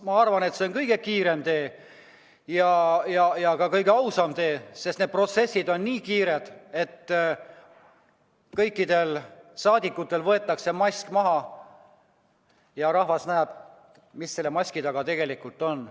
Ma arvan, et see on kõige kiirem tee ja ka kõige ausam tee, sest need protsessid on nii kiired, et kõikidel saadikutel võetakse mask maha ja rahvas näeb, mis selle maski taga tegelikult on.